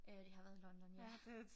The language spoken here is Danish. Øh det har været i London ja